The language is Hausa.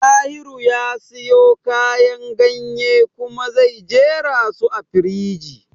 Dahiru ya sayo kayan ganye kuma ya jerasu a firiji